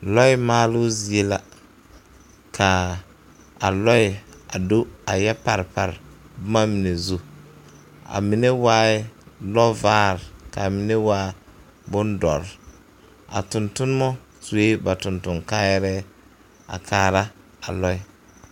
Lɔɛ maaloo zie la ka a lɔɛ a do a yɛ pare pare boma mine zu a mine waaɛ lɔvaare ka mine waa bondɔre a tontonema sue ba tontonkaayarɛɛ a kaara a lɔɛ.